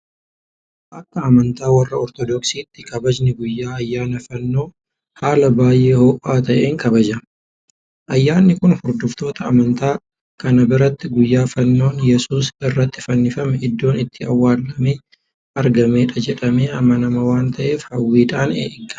Akka Amantaa warra Ortodoksiitti kabajni guyyaa ayyaana fannoo haala baay'ee ho'aa ta'een kabajama. Ayyaanni kun hordoftoota amantaa kanaa biratti guyyaa Faannoon Yesuus irratti fannifame iddoon itti awwaalame argamedha jedhamee amanama waanta ta'eef hawwiidhaan eeggatama.